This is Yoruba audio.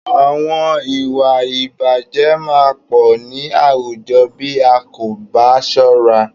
Àwọn ìwà ìbàjé máa pọ̀ ní àwùjọ bí a kò bá ṣọ́ra.